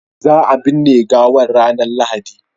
za a binne gawan ranar lahadi